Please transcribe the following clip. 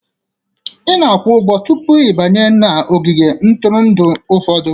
Ị na-akwụ ụgwọ tupu ị banye n'ogige ntụrụndụ ụfọdụ